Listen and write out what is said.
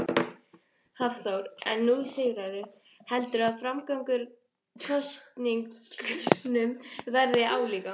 Hafþór: En nú sigraðirðu, heldurðu að framgangur kosningunum verði álíka?